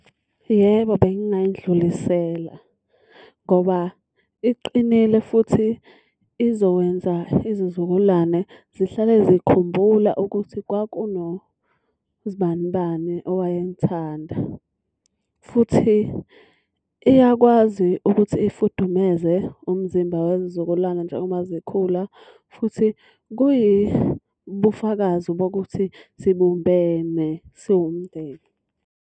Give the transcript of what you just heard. Yebo, bengingayidlulisela. Ngoba iqinile futhi izokwenza izizukulwane zihlale zikhumbula ukuthi kwakunozibanibani owayemthanda. Futhi iyakwazi ukuthi ifudumeze umzimba wezizukulwane njengoba zikhula. Futhi kuyibufakazi bokuthi sibumbene siwumndeni.